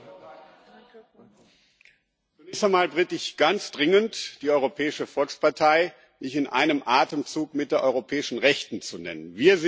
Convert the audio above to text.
Also zunächst einmal bitte ich ganz dringend, die Europäische Volkspartei nicht in einem Atemzug mit der europäischen Rechten zu nennen.